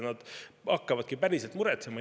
Nad hakkavadki päriselt muretsema.